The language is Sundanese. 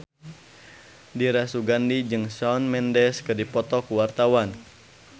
Dira Sugandi jeung Shawn Mendes keur dipoto ku wartawan